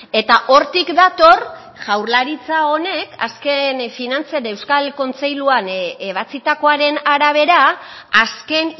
eta hortik dator jaurlaritza honek azken finantzen euskal kontseiluan ebatzitakoaren arabera azken